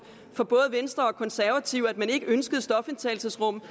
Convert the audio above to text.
for både venstre og konservative i at man ikke ønskede stofindtagelsesrum